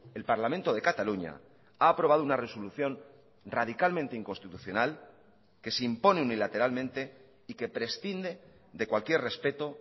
el parlamento de cataluña ha aprobado una resolución radicalmente inconstitucional que se impone unilateralmente y que prescinde de cualquier respeto